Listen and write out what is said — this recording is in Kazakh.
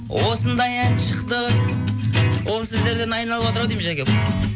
осындай ән шықты осы сөздер айналып отыр ау деймін жаке